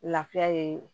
Lafiya ye